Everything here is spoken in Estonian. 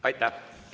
Aitäh!